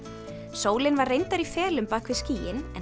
sólin var reyndar í felum bak við skýin en